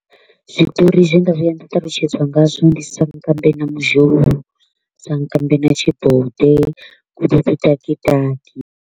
Zwiṱori zwe nda vhuya nda talutshedziwa ngazwo ndi sankambe na mudzhou, sankambe na tshibode .